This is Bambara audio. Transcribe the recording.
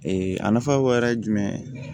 a nafa dɔ wɛrɛ ye jumɛn ye